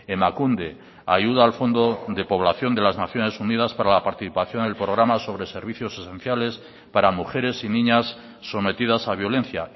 emakunde ayuda al fondo de población de las naciones unidas para la participación del programa sobre servicios esenciales para mujeres y niñas sometidas a violencia